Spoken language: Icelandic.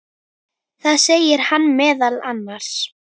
Þar segir hann meðal annars